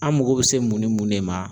An mago bi se mun ni mun de ma